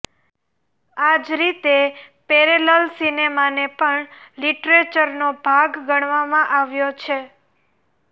આ જ રીતે પેરેલલ સિનેમાને પણ લિટરેચરનો ભાગ ગણવામાં આવ્યો છે